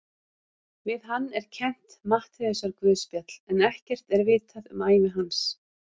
Við hann er kennt Matteusarguðspjall en ekkert er vitað um ævi hans.